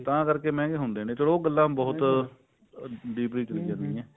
ਤਾਂ ਕਰਕੇ ਮਹਿੰਗੇ ਹੁੰਦੇ ਨੇ ਚਲੋ ਉਹ ਗੱਲਾਂ ਬਹੁਤ deeply ਚਲੀ